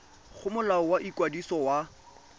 go molao wa ikwadiso wa